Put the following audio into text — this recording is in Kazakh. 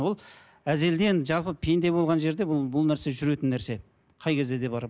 ол жалпы пенде болған жерде бұл бұл нәрсе жүретін нәрсе қай кезде де бар